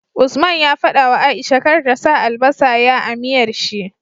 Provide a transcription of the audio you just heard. Usman ya fadawa aisha kar ta sa albasa ya a miyar shi